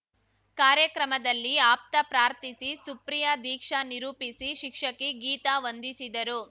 ಕಾರ್ಯಕ್ರಮದಲ್ಲಿ ಆಪ್ತ ಪ್ರಾರ್ಥಿಸಿ ಸುಪ್ರಿಯ ದೀಕ್ಷಾ ನಿರೂಪಿಸಿ ಶಿಕ್ಷಕಿ ಗೀತಾ ವಂದಿಸಿದರು